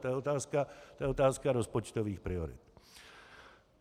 To je otázka rozpočtových priorit.